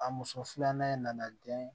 A muso filanan in nana den